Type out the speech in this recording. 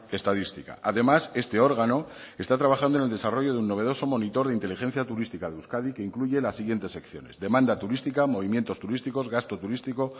estadística además este órgano está trabajando en el desarrollo de un novedoso monitor de inteligencia turística de euskadi que incluye las siguientes secciones demanda turística movimientos turísticos gasto turístico